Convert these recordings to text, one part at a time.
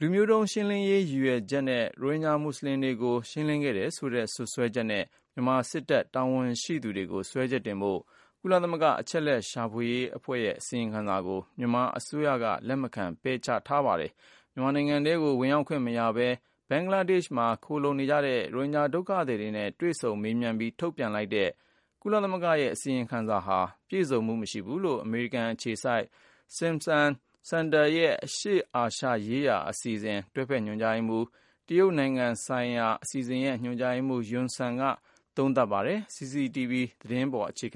လူမျိုးတုံးရှင်းလင်းရေး ရည်ရွယ်ချက်နဲ့ ရိုဟင်ဂျာ မူဆလင်တွေကို ရှင်းလင်းခဲ့တယ်ဆိုတဲ့ စွပ်စွဲချက်နဲ့ မြန်မာ စစ်တပ် တာဝန်ရှိသူတွေကို စွဲချက်တင်ဖို့ ကုလသမဂ္ဂ အချက်အလက်ရှာ အဖွဲ့ရဲ့ အစီရင်ခံစာကို မြန်မာ အစိုးရက လက်မခံ ပယ်ချခဲ့ပါတယ်။ မြန်မာနိုင်ငံထဲကို ဝင်ရောက်ခွင့် မရဘဲ ဘင်္ဂလားဒေရှ့်မှာ ခိုလှုံနေကြတဲ့ ရိုဟင်ဂျာ ဒုက္ခသည်တွေနဲ့ တွေ့ဆုံမေးမြန်းပြီး ထုတ်ပြန်လိုက်တဲ့ ကုလ အစီရင်ခံစာက မပြည့်စုံဘူးလို့ အမေရိကန် အခြေစိုက် Stimson Center ရဲ့ အရှေ့အာရှရေးရှာ အစီအစဉ်ရဲ့ တွဲဖက် ညွှန်ကြားရေးမှူး၊ တရုတ်ဆိုင်ရာ အစီအစဉ်ရဲ့ ညွှန်ကြားရေးမှူး Yun Sun က သုံးသပ်ပါတယ်။ CCTV သတင်းတပုဒ်ကို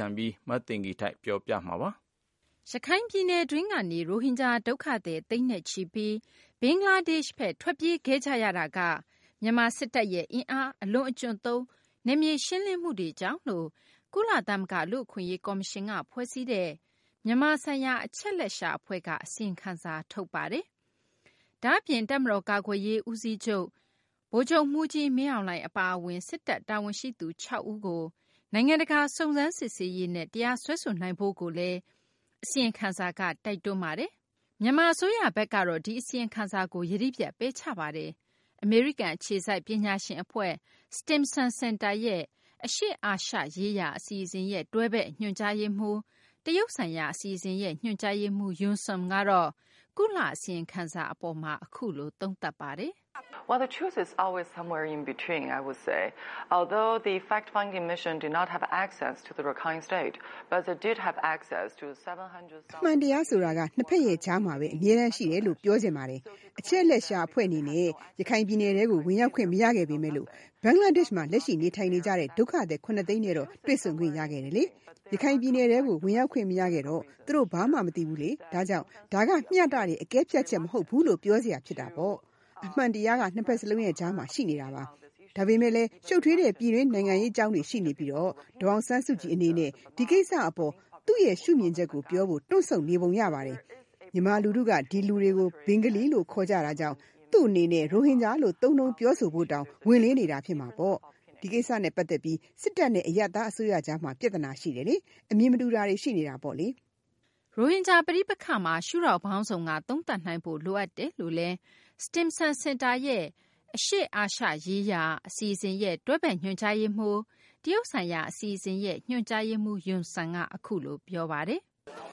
မသိင်္ဂ ီထိုက် ပြန်ပြောပြမှာပါ။ ရခိုင်ပြည်နယ်တွင်းကနေ ရိုဟင်ဂျာ ဒုက္ခသည် သိန်းနဲ့ချီပြီး ဘင်္ဂလားဒေရှ့်ဘက် ထွက်ပြေးခဲ့ကြရတာက မြန်မာ စစ်တပ်ရဲ့ အင်အားအလွန်အကျွံသုံး နယ်မြေ ရှင်းလင်းမှုတွေကြောင့်လို့ ကုလသမဂ္ဂ လူ့အခွင့်အရေး ကော်မရှင်က ဖွဲ့စည်းတဲ့ မြန်မာ ဆိုင်ရာ အချက်အလက်ရှာ အဖွဲ့က အစီရင်ခံစာ ထုတ်ပြန်ပါတယ်။ ဒါ့အပြင် တပ်မတော် ကာကွယ်ရေး ဦးစီးချုပ် ဗိုလ်ချုပ်မှူးကြီး မင်းအောင်လှိုင် အပါအဝင် စစ်တပ် တာဝန်ရှိသူ ၆ ဦးကို နိုင်ငံတကာ စုံစမ်းစစ်ဆေးရေးနဲ့ တရားစွဲဆိုနိုင်ဖို့လည်း အစီရင်ခံစာက တိုက်တွန်းပါတယ်။ မြန်မာ အစိုးရဘက်ကတော့ ဒီအစီရင်ခံစာကို ယတိပြတ် ပယ်ချပါတယ်။ အမေရိကန် အခြေစိုက် ပညာရှင် အဖွဲ့ Stimson Center ရဲ့ အရှေ့အာရှရေးရှာ အစီအစဉ်ရဲ့ တွဲဖက် ညွှန်ကြားရေးမှူး၊ တရုတ်ဆိုင်ရာ အစီအစဉ်ရဲ့ ညွှန်ကြားရေးမှူး Yun Sun ကတော့ ကုလ အစီရင်ခံစာ အပေါ် အခုလို သုံးသပ်ပါတယ်။ "အမှန်တရားဆိုတာက နှစ်ဘက်ရဲ့ ကြားမှာဘဲ အမြဲတမ်း ရှိတယ်လို့ ပြောချင်ပါတယ်။ အချက်အလက်ရှာ အဖွဲ့ အနေနဲ့ ရခိုင်ပြည်နယ်ထဲကို ဝင်ရောက်ခွင့် မရခဲ့ပေမယ့် ဘင်္ဂလားဒေရှ့်မှာ လက်ရှိ နေထိုင်နေကြတဲ့ ဒုက္ခသည် ၇ သိန်းနဲ့တော့ တွေ့ဆုံခွင့် ရခဲ့ပါတယ်။ ရခိုင်ပြည်နယ်ထဲကို ဝင်ရောက်ခွင့် မရခဲ့တော့ သူတို့ ဘာမှ မသိဘူး ဒါကြောင့် ဒါက မျှတတဲ့ အကဲဖြတ်ချက် မဟုတ်ဘူးလို့ ပြောစရာပါ။ အမှန်တရားက နှစ်ဘက်စလုံးရဲ့ ကြားမှာ ရှိပါတယ်။ ဒါပေမယ့်လည်း ရှုပ်ထွေးတဲ့ ပြည်တွင်း နိုင်ငံရေး အကြောင်းတွေရှိနေပြီး ဒေါ်အောင်ဆန်းစုကြည် အနေနဲ့ ဒီကိစ္စ အပေါ် သူမရဲ့ ရှုမြင်ချက်ကို ပြောဖို့ တွန့်ဆုတ်နေဟန် ရှိပါတယ်။ မြန်မာ လူထုက ဒီလူတွေကို ဘင်္ဂါလီလို့ဘဲ ခေါ်ကြတာကြောင့် သူမ အနေနဲ့ ရိုဟင်ဂျာလို့ သုံးနှုန်း ပြောဆိုဖု့ိတောင် ဝန်လေးနေတာပါ။ ဒီကိစ္စနဲ့ ပတ်သက်ပြီး စစ်တပ်နဲ့ အရပ်သား အစိုးရကြားမှာ ပြသနာ ရှိနေပါတယ်။ အမြင် မတူတာတွေ ရှိနေပါတယ်။" ရိုဟင်ဂျာ ပဋိပက္ခမှာ ရှုထောင့်ပေါင်းစုံက သုံးသပ်နိုင်ဖို့ လိုအပ်တယ်လို့လည်း Stimson Center ရဲ့ အရှေ့အာရှရေးရှာ အစီအစဉ်ရဲ့ တွဲဖက် ညွှန်ကြားရေးမှူး၊ တရုတ်ဆိုင်ရာ အစီအစဉ်ရဲ့ ညွှန်ကြားရေးမှူး Yun Sun က အခုလို ပြောပါတယ်။ ဒ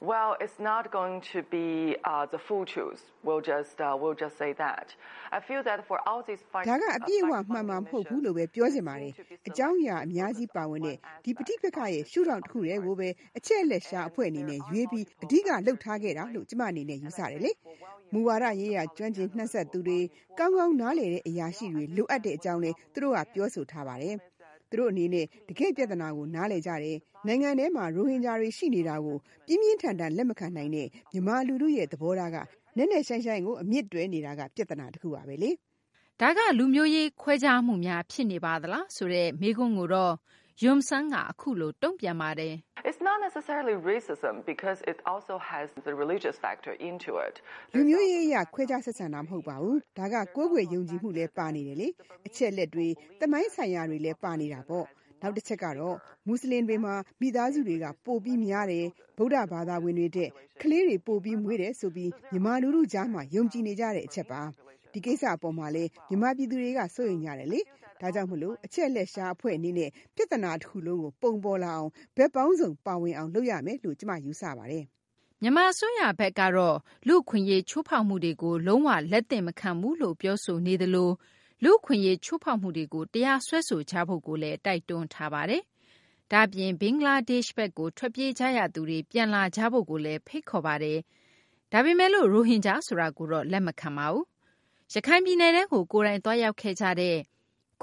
ါက အပြည့်အ၀ မှန်မှာ မဟုတ်ဘူးလို့ဘဲ ပြောချင်ပါတယ်။ အကြောင်းအရာ အများကြီး ပါဝင်တဲ့ ဒီပဋိပက္ခရဲ့ ရှု့ထောင့် တခုကိုဘဲ အချက်အလက်ရှာ အဖွဲ့ အနေနဲ့ ရွေးပြီး အဓိကထား လုပ်ခဲ့တယ်လို့ ကျမ အနေနဲ့ ယူဆပါတယ်။ မူဝါဒရေးရာ ကျွမ်းကျင် နှံ့စပ်သူတွေ၊ ကောင်းကောင်း နားလည်တဲ့ အရာရှိတွေ လိုအပ်တဲ့ အကြောင်းလည်း သူတို့က ပြောဆိုကြပါတယ်။ သူတို့ အနေနဲ့ တကယ့် ပြသနာကို နားလည်ကြပါတယ်။ နိုင်ငံတွင်းမှာ ရိုဟင်ဂျာတွေ ရှိနေတာကို ပြင်းပြင်းထန်ထန်ကို လက်မခံနိုင်တဲ့မြန်မာ လူထုရဲ့ သဘောထားက နက်နက်ရှိုင်းရှိုင်းကို အမြစ်တွယ်နေတာက ပြသနာပါ။ ဒါက လူမျိုးရေး ခွဲခြားမှုများ ဖြစ်နေပါသလားဆိုတဲ့ မေးခွန်းကိုတော့ Yun Sun က အခုလို တုံ့ပြန်ပါတယ်။ "လူမျိုးရေး အရ ခွဲခြား ဆက်ဆံတာ မဟုတ်ပါဘူး။ ဒါက ကိုးကွယ်ယုံကြည်မှု ပါနေတာပါ။ အချက်အလက်တွေ သမိုင်းဆိုင်ရာတွေလည်း ပါနေပါတယ်။ နောက် တချက်ကတော့ မူဆလင်တွေမှာ မိသားစုတွေက ပိုပြီး ကြီးတယ်၊ ဗုဒ္ဓဘာသာဝင်တွေထက် ကလေးတွေ ပိုပြီးမွေးတယ် ဆိုပြီး မြန်မာ လူထုကြားမှာ ယုံကြည်နေကြတဲ့ အချက်ပါ။ ဒီကိစ္စ အပေါ်မှာလည်း မြန်မာ ပြည်သူတွေက စိုးရိမ်ကြပါတယ်။ ဒါကြောင့်မို့လို့ အချက်အလက်ရှာ အဖွဲ့ အနေနဲ့ ပြသနာ တခုလုံးကို ပုံပေါ်လာအောင် ဘက်ပေါင်းစုံ ပါဝင်အောင် လုပ်ရမယ်လို့ ကျမ ယူဆပါတယ်။" မြန်မာ အစိုးရဘက်ကတော့ လူ့အခွင့်အရေး ချိုးဖောက်မှုတွေကို လုံး၀ လက်သင့်မခံဘူးလို့ ပြောဆိုနေသလို လူ့အခွင့်အရေး ချိုးဖောက်မှုတွေကို တရားစွဲဆိုကြဖို့ တိုက်တွန်းထားတာပါ။ ဒါ့အပြင် ဘင်္ဂလားဒေရှ့်ဘက်ကို ထွက်ပြေးရသူတွေ ပြန်လာကြဖို့လည်း ဖိတ်ခေါ်ပါတယ်။ ဒါပေမယ်လို့ ရိုဟင်ဂျာ ဆိုတာကိုတော့ လက်မခံပါဘူး။ ရခိုင်ပြည်နယ်ထဲကို ကိုယ်တိုင် သွားရောက်ခဲ့ကြတဲ့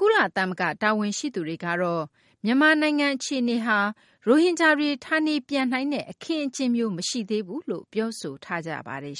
ကုလသမဂ္ဂ တာဝန်ရှိသူတွေကတော့ မြန်မာနိုင်ငံ အခြေအနေဟာ ရိုဟင်ဂျာတွေ ဌာနေပြန်နိုင်တဲ့ အခင်းအကျင်းမျိုး မရှိသေးဘူးလို့ ပြောဆိုထားကြပါတယ်